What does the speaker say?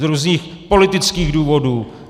Z různých politických důvodů.